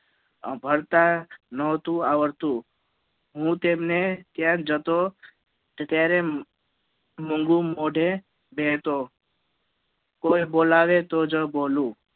ભળતા નોતું આવડતું હું તેમને ત્યાં જતો તો ત્યારે મુંગુ મોઢે બેહતો કોઈ બોલાવે તોજ બોલું